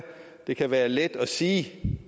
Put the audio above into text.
det kan være let at sige